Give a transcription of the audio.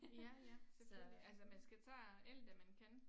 Ja ja selvfølgelig altså man skal tage alt hvad man kan